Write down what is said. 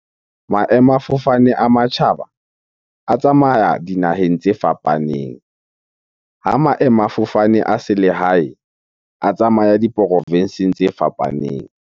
Maemafofane a matjhaba a tsamaya dinaheng tse fapaneng. Ha maemafofane a selehae, a tsamaya diprofenseng tse fapaneng.